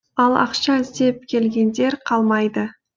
ал ақша іздеп келгендер қалмайды